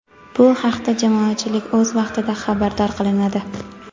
bu haqda jamoatchilik o‘z vaqtida xabardor qilinadi.